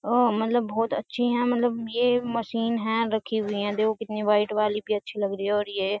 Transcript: मतलब बहुत अच्छी है मतलब ये मशीन है रखी हुई है देखो कितनी वाइट वाली भी अच्छी लग रही है और ये --